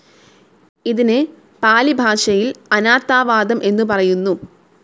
ഇതിന് പാലിഭാഷയിൽ അനാത്താവാദം എന്നു പറയുന്നു.